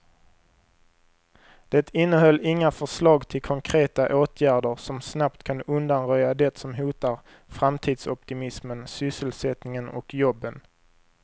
Det innehöll inga förslag till konkreta åtgärder som snabbt kan undanröja det som hotar framtidsoptimismen, sysselsättningen och jobben.